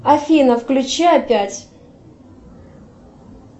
афина включи опять